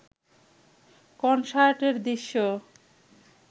কনসার্টের দৃশ্য